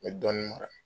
N bɛ dɔɔnin mara